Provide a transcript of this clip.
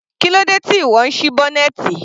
Kílódé tí ìwọ ń sí bọ́nẹ́ẹ́tì?